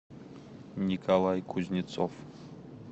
николай кузнецов